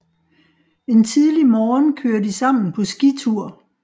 En tidlig morgen kører de sammen på skitur